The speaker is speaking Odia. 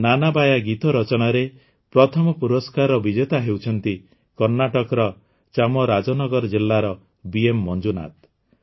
ନାନାବାୟା ଗୀତ ରଚନାରେ ପ୍ରଥମ ପୁରସ୍କାରର ବିଜେତା ହେଉଛନ୍ତି କର୍ଣ୍ଣାଟକର ଚାମରାଜନଗର ଜିଲ୍ଲାର ବିଏମ ମଞ୍ଜୁନାଥ